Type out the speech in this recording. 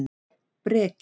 Breki